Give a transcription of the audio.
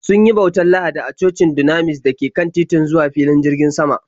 Sun yi bautar Lahadi a cocin Dunamis da ke kan titin zuwa filin jirgin sama.